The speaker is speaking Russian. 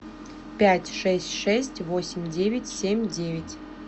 пять шесть шесть восемь девять семь девять